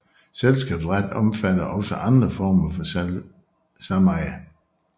Selskabsret omfatter også andre former for sameje